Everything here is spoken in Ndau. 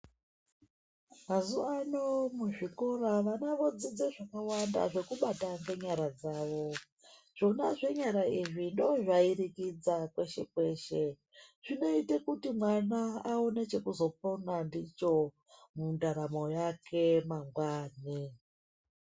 Mazuva ano muzvikora vana vodzidza zvakawanda zvekubata kwenyara dzawo zvona zvenyara izvi ndozvairi kwidza kweshe kweshe zvinoita kuti mwana aone chekuzopona ndicho mundaramo yake mangwani.